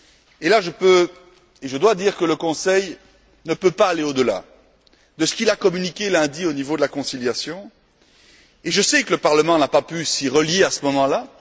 Et sur ce point, je dois dire que le Conseil ne peut pas aller au delà de ce qu'il a communiqué lundi au niveau de la conciliation même si je sais que le Parlement n'a pas pu s'y rallier à ce moment là.